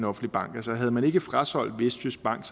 offentlig bank altså havde man ikke frasolgt vestjysk bank